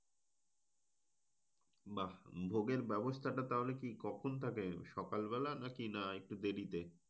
বাহ। ভোগের ব্যাবস্থাটা তাহলে কি কখন থাকে? সকাল বেলা নাকি না একটু দেরিতে?